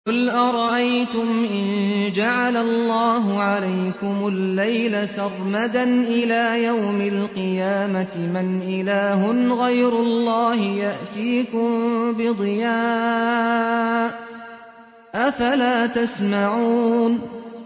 قُلْ أَرَأَيْتُمْ إِن جَعَلَ اللَّهُ عَلَيْكُمُ اللَّيْلَ سَرْمَدًا إِلَىٰ يَوْمِ الْقِيَامَةِ مَنْ إِلَٰهٌ غَيْرُ اللَّهِ يَأْتِيكُم بِضِيَاءٍ ۖ أَفَلَا تَسْمَعُونَ